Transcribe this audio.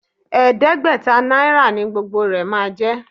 Ẹ̀ẹ́dẹ́gbẹ̀ta náírà ni gbogbo rẹ máa jẹ́.